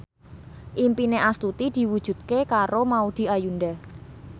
impine Astuti diwujudke karo Maudy Ayunda